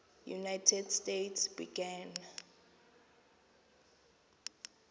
united states began